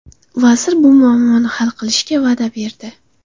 Vazir bu muammoni hal qilishga va’da berdi.